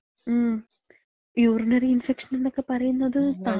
മ്, യൂറിനറി ഇൻഫെക്ഷൻന്നൊക്കെ പറയണത്,